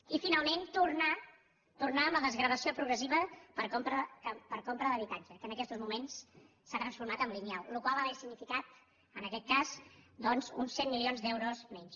i finalment tornar tornar amb la desgravació progressiva per compra d’habitatge que en aquestos moments s’ha transformat en lineal la qual cosa hauria significat en aquest cas doncs uns cent milions d’euros menys